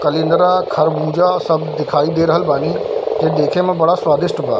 कलिंद्रा खरबूजा सब दिखाई दे रहल बानी ये देखे में बड़ा स्वादिष्ट बा।